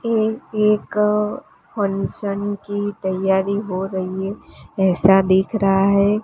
ये एक फंक्शन की तैयारी हो रही है ऐसा दिख रहा है।